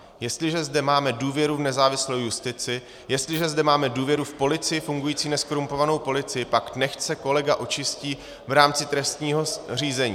Jestliže zde máme důvěru v nezávislou justici, jestliže zde máme důvěru v policii, fungující nezkorumpovanou policii, pak nechť se kolega očistí v rámci trestního řízení."